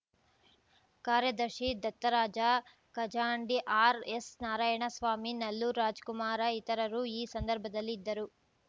ಕಾರ್ಯದರ್ಶಿ ದತ್ತರಾಜ ಖಜಾಂಡಿ ಆರ್‌ಎಸ್‌ನಾರಾಯಣ ಸ್ವಾಮಿ ನಲ್ಲೂರು ರಾಜಕುಮಾರ ಇತರರು ಈ ಸಂದರ್ಭದಲ್ಲಿ ಇದ್ದರು